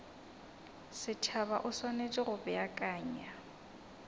setšhaba o swanetše go beakanya